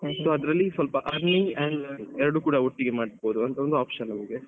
sso ಅದ್ರಲ್ಲಿ earning and ಎರಡು ಕೂಡ ಒಟ್ಟಿಗೆ ಮಾಡ್ಬೋದಂತoption ನಮ್ಗೆ.